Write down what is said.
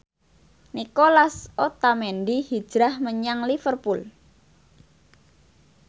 Nicolas Otamendi hijrah menyang Liverpool